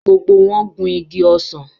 Gbogbo wọn gun igi ọsàn